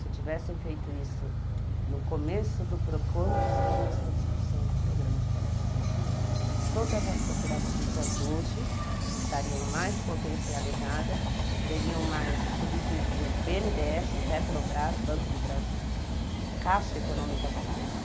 Se tivessem feito isso no começo, quando se começou a discussão do programa de coleta seletiva, todas as cooperativas hoje estariam mais potencializadas, teriam mais subsídios do bê ene dê esse, Petrobras, Banco do Brasil, Caixa Econômica Federal.